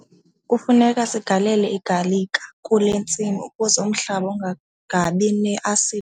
Kufuneka sigalele igalika kule ntsimi ukuze umhlaba ungabi ne-asidi.